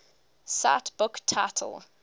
cite book title